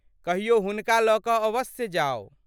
कहियो हुनका लऽ कऽ अवश्य जाउ।